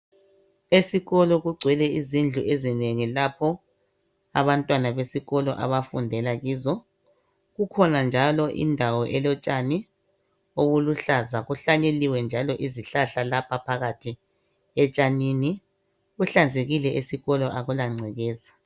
Esikolo kugcwele izindlu ezinengi lapho abantwana besikolo abafundela kizo. Kukhona njalo indawo elotshani okuluhlaza kuhlanyeliwe njalo izihlahla lapha phakathi etshanini. Kuhlanzekile esikolo akula ngcekeza.